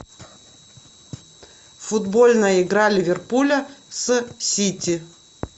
футбольная игра ливерпуля с сити